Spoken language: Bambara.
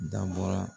Da bɔra